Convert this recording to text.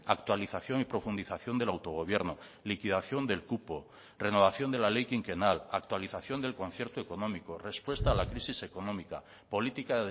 actualización y profundización del autogobierno liquidación del cupo renovación de la ley quinquenal actualización del concierto económico respuesta a la crisis económica política